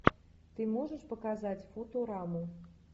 ты можешь показать футураму